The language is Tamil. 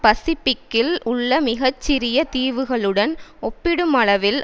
பசிபிக்கில் உள்ள மிக சிறிய தீவுகளுடன் ஒப்பிடும் அளவில்